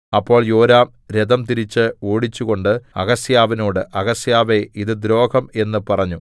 അപ്പോൾ യോരാം രഥം തിരിച്ച് ഓടിച്ചുകൊണ്ട് അഹസ്യാവിനോട് അഹസ്യാവേ ഇത് ദ്രോഹം എന്ന് പറഞ്ഞു